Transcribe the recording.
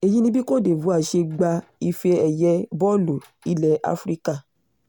èyí ni bí côte divore ṣe gba ife-ẹ̀yẹ bọ́ọ̀lù ilẹ̀ africa